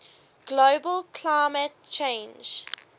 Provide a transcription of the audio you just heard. global climate change